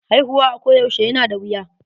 Haihuwa a ko yaushe yana da wuya.